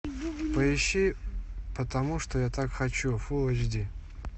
поищи потому что я так хочу фулл эйч ди